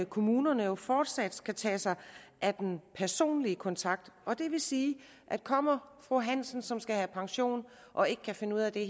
kommunerne jo fortsat skal tage sig af den personlige kontakt og det vil sige at kommer fru hansen som skal have pension og ikke kan finde ud af det